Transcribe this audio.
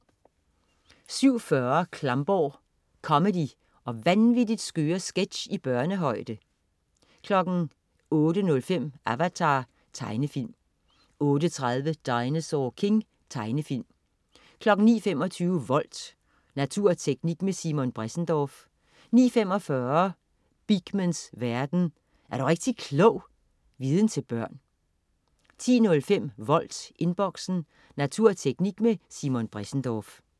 07.40 Klamborg. Comedy og vanvittigt skøre sketch i børnehøjde 08.05 Avatar. Tegnefilm 08.30 Dinosaur King. Tegnefilm 09.25 Volt. Natur og teknik med Simon Bressendorff 09.45 Beakmans verden. Er du rigtig klog! Viden til børn 10.05 Volt, Inboxen. Natur og teknik med Simon Bressendorff